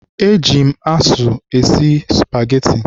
Eji m azụ esi spageti.